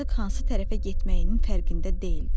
Artıq hansı tərəfə getməyinin fərqində deyildi.